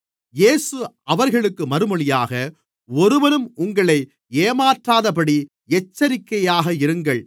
இயேசு அவர்களுக்கு மறுமொழியாக ஒருவனும் உங்களை ஏமாற்றாதபடி எச்சரிக்கையாக இருங்கள்